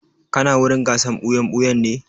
Kana wurin gasar wasan ɓuya-ɓuyan ne?